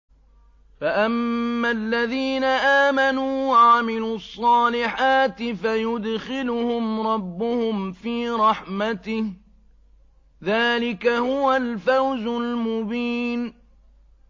فَأَمَّا الَّذِينَ آمَنُوا وَعَمِلُوا الصَّالِحَاتِ فَيُدْخِلُهُمْ رَبُّهُمْ فِي رَحْمَتِهِ ۚ ذَٰلِكَ هُوَ الْفَوْزُ الْمُبِينُ